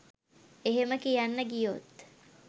එහෙම කියන්න ගියොත්